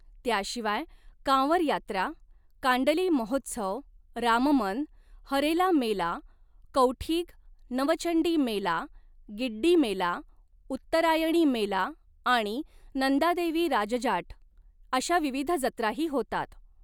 त्याशिवाय, कांवर यात्रा, कांडली महोत्सव, राममन, हरेला मेला, कौठीग, नवचंडी मेला, गिड्डी मेला, उत्तरायणी मेला आणि नंदादेवी राज जाट, अशा विविध जत्राही होतात.